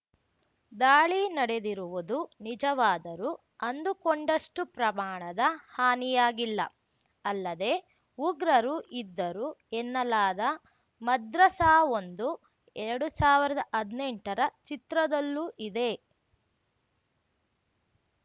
ದಾಳಿ ನಡೆದಿರುವುದು ನಿಜವಾದರೂ ಅಂದುಕೊಂಡಷ್ಟುಪ್ರಮಾಣದ ಹಾನಿಯಾಗಿಲ್ಲ ಅಲ್ಲದೆ ಉಗ್ರರು ಇದ್ದರು ಎನ್ನಲಾದ ಮದ್ರಸಾವೊಂದು ಎರಡ್ ಸಾವ್ರ್ದ ಹದ್ನೆಂಟರ ಚಿತ್ರದಲ್ಲೂ ಇದೆ